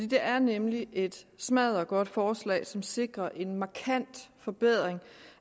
det er nemlig et smaddergodt forslag som sikrer en markant forbedring